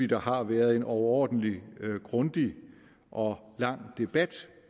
der har været en overordentlig grundig og lang debat